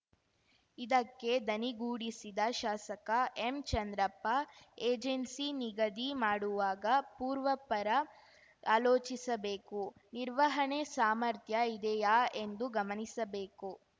ಇದಕ್ಕೆ ದನಿಗೂಡಿಸಿದ ಶಾಸಕ ಎಂಚಂದ್ರಪ್ಪ ಏಜೆನ್ಸಿ ನಿಗದಿ ಮಾಡುವಾಗ ಪೂರ್ವಾಪರ ಆಲೋಚಿಸಬೇಕು ನಿರ್ವಹಣೆ ಸಾಮರ್ಥ್ಯ ಇದೆಯಾ ಎಂದು ಗಮನಿಸಬೇಕು